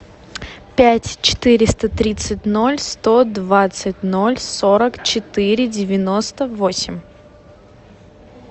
пять четыреста тридцать ноль сто двадцать ноль сорок четыре девяносто восемь